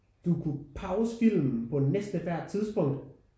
Du kunne pause filmen på næsten ethvert tidspunkt